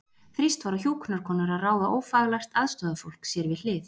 Þrýst var á hjúkrunarkonur að ráða ófaglært aðstoðarfólk sér við hlið.